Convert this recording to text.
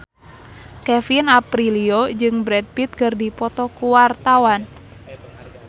Kevin Aprilio jeung Brad Pitt keur dipoto ku wartawan